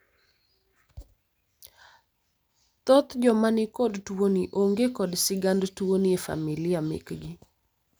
thocth joma nikod tuoni onge kod sigand tuoni e familia mekgi